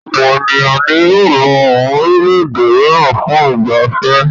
Ọ̀pọ̀ ènìyàn ni yóò lọ àwọn orílẹ̀-èdè mìíràn fún ìgbà fẹ́.